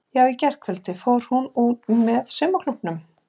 Í gærkvöldi fór hún út með saumaklúbbnum.